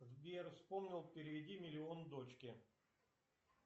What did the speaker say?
сбер вспомнил переведи миллион дочке